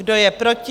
Kdo je proti?